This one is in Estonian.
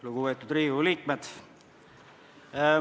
Lugupeetud Riigikogu liikmed!